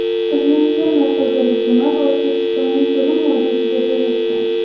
Bizning fermer xo‘jaligimiz O‘zbekistoning so‘lim vodiysida joylashgan.